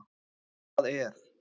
Hvað er?